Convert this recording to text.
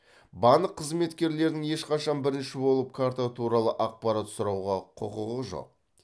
банк қызметкерлерінің ешқашан бірінші болып карта туралы ақпарат сұрауға құқығы жоқ